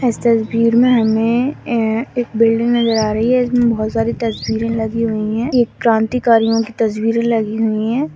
यहां पर एक बिल्डिंग दिखाई दे रही है इसमें बहुत सारी तस्वीरें लगी हुई है इसमें क्रांतिकारियों की तस्वीरें लगी हुई है।